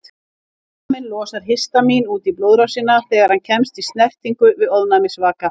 Líkaminn losar histamín út í blóðrásina þegar hann kemst í snertingu við ofnæmisvaka.